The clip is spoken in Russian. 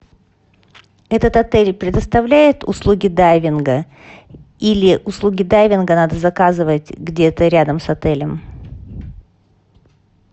этот отель предоставляет услуги дайвинга или услуги дайвинга надо заказывать где то рядом с отелем